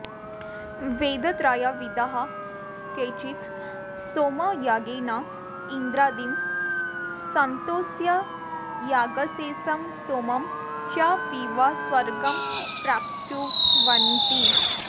वेदत्रयविदः केचित् सोमयागेन इन्द्रादीन् सन्तोष्य यागशेषं सोमं च पीत्वा स्वर्गं प्राप्नुवन्ति